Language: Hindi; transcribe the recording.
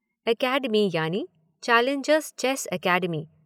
एकेडमी यानी ‘चैलेंजर्स चेस एकेडमी’।